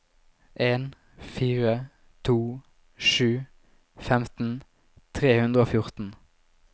en fire to sju femten tre hundre og fjorten